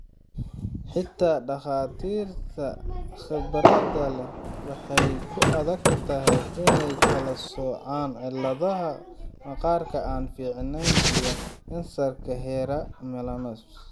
Xitaa dhakhaatiirta khibradda leh waxay ku adag tahay inay kala soocaan cilladaha maqaarka aan fiicnayn iyo kansarka hore ama melanomas.